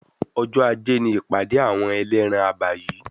Ọjọ́ ajé ni ìpàdé àwọn ẹlẹ́ran abà yìí.